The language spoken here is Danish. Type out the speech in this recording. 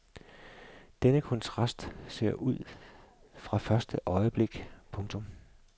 Denne kontrast ser du fra første øjeblik. punktum